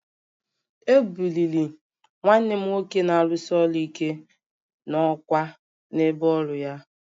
E buliri nwanne m nwoke na-arụsi ọrụ ike n'ọkwá n'ebe ọrụ ya